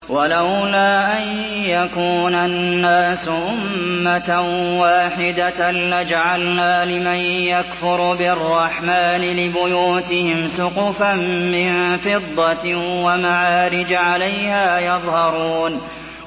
وَلَوْلَا أَن يَكُونَ النَّاسُ أُمَّةً وَاحِدَةً لَّجَعَلْنَا لِمَن يَكْفُرُ بِالرَّحْمَٰنِ لِبُيُوتِهِمْ سُقُفًا مِّن فِضَّةٍ وَمَعَارِجَ عَلَيْهَا يَظْهَرُونَ